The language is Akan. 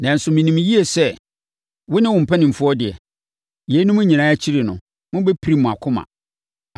Nanso, menim yie sɛ wo ne wo mpanimfoɔ deɛ, yeinom nyinaa akyiri no, mobɛpirim mo akoma.”